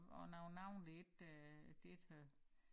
Og nogle navne det ikke øh det ikke øh